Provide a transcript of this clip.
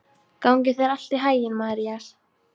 Gangi þér allt í haginn, Marías.